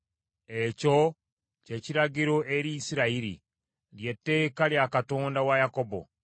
Ekyo kye kiragiro eri Isirayiri, lye tteeka lya Katonda wa Yakobo.